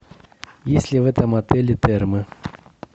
есть ли в этом отеле термы